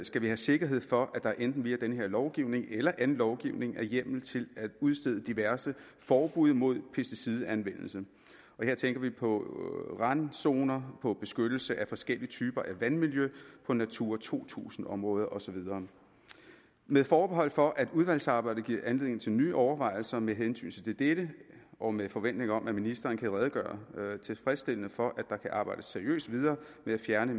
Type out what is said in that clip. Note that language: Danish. skal vi have sikkerhed for at der enten via den her lovgivning eller anden lovgivning er hjemmel til at udstede diverse forbud imod pesticidanvendelse og her tænker vi på randzoner på beskyttelse af forskellige typer af vandmiljø på natura to tusind områder og så videre med forbehold for at udvalgsarbejdet giver anledning til nye overvejelser med hensyn til dette og med forventning om at ministeren kan redegøre tilfredsstillende for at der kan arbejdes seriøst videre med at fjerne